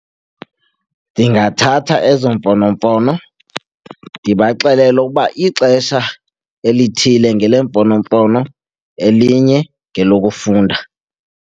Ndingathatha ezo mfonomfono ndibaxelele ukuba ixesha elithile ngeleemfonomfono, elinye ngelokufunda.